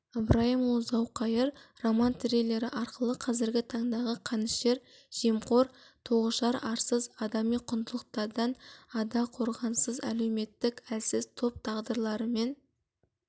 ыбырайымұлы зауқайыр роман-триллері арқылы қазіргі таңдағы қанішер жемқор тоғышар арсыз адами құндылықтардан ада қорғансыз әлеуметтік әлсіз топ тағдырларымен